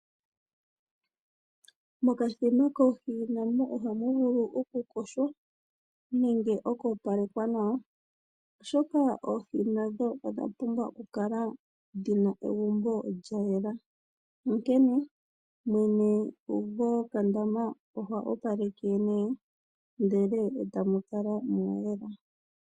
Mokadhima koohi namo ohamu vulu oku koshwa nenge oku opalekwa nawa, oshoka oohi nadho odha pumbwa oku kala lyina egumbo lya yela, onkene mwene gokandama oha opaleke ndele e tu kala mwa yela.